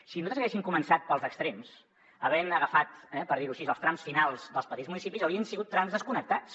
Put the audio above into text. si nosaltres haguéssim començat pels extrems havent agafat eh per dir ho així els trams finals dels petits municipis haurien sigut trams desconnectats